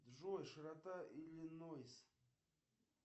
джой широта иллинойс